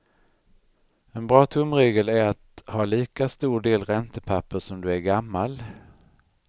En bra tumregel är att ha lika stor del räntepapper som du är gammal.